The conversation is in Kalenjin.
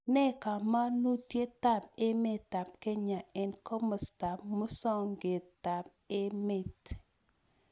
Nee kamanutietap emetap Kenya eng' komostap musogetap emet